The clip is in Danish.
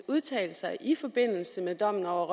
udtalelser i forbindelse med dommen over